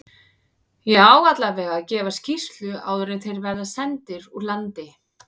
Ég á allavega að gefa skýrslu áður en þeir verða sendir úr landi.